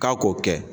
K'a k'o kɛ